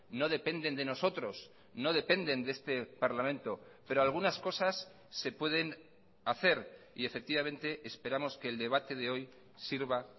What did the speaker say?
no dependen de nosotros no dependen de este parlamento pero algunas cosas se pueden hacer y efectivamente esperamos que el debate de hoy sirva